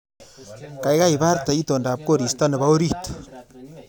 Gaigai iborte itondap koristo nebo orit